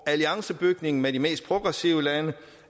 alliancebygningen med de mest progressive